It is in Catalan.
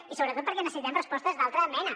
i sobretot perquè necessitem respostes d’altra mena